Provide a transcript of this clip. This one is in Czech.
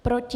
Proti?